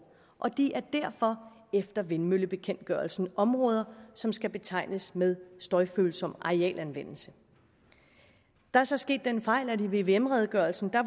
og de er derfor efter vindmøllebekendtgørelsen områder som skal betegnes med støjfølsom arealanvendelse der er så sket den fejl at områderne i vvm redegørelsen